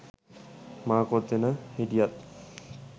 මා කොතන හිටියත්